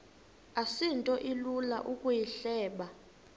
asinto ilula ukuyihleba